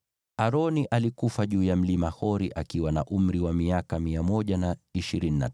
Aroni alikufa juu ya Mlima Hori akiwa na umri wa miaka 123.